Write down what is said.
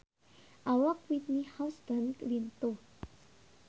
Awak Whitney Houston lintuh